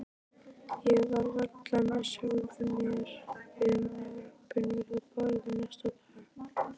Ég var varla með sjálfri mér við morgunverðarborðið næsta dag.